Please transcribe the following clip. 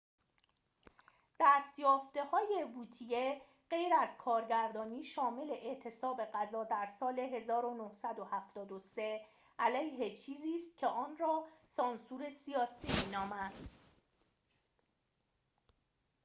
دست‌یافته‌های ووتیه غیر از کارگردانی شامل اعتصاب غذا در سال ۱۹۷۳ علیه چیزی است که آن را سانسور سیاسی می‌دانست